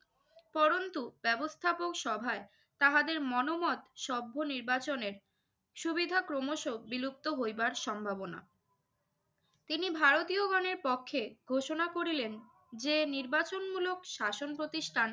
পড়ন্তু ব্যবস্থাপকসভায় তাহাদের মনোমত সভ্য নির্বাচনের সুবিধা ক্রমশ বিলুপ্ত হইবার সম্ভাবনা। তিনি ভারতীয়গণের পক্ষে ঘোষণা করিলেন যে নির্বাচনমূলক শাসন প্রতিষ্ঠান